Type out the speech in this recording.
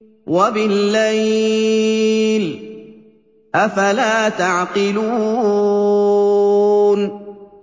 وَبِاللَّيْلِ ۗ أَفَلَا تَعْقِلُونَ